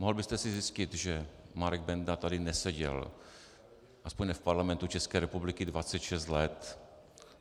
Mohl byste si zjistit, že Marek Benda tady neseděl, aspoň ne v Parlamentu České republiky, 26 let.